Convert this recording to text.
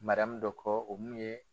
dɔ kɔ o mun ye